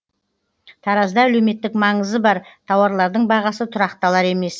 таразда әлеуметтік маңызы бар тауарлардың бағасы тұрақталар емес